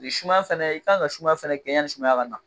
sumaya fɛnɛ e kan ka sumaya fɛnɛ gɛn yanisumaya ka na